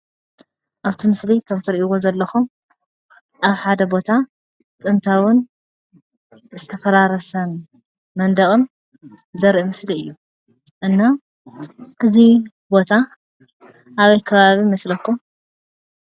ኣብቲ ምስሊ ከም ትርእዎ ዘለኹም ኣብ ሐደ ቦታ ጥንታውን ዝተፈራረሰን መንደቅን ዘርኢ ምስሊ እዩ እና እዚ ቦታ ኣበይ ከባቢ ይመስለኩም?